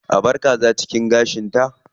A bar kaza cikin gashinta.